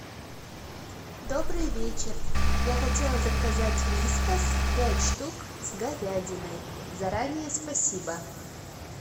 добрый вечер я хотела заказать вискас пять штук с говядиной заранее спасибо